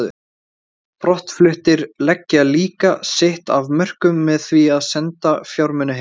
Brottfluttir leggja líka sitt af mörkum með því að senda fjármuni heim.